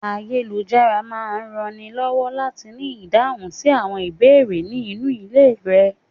Ayélujára máa rànni lọ́wọ́ láti rí ìdáhùn sí ìbéèrè ní inú ilé rẹ.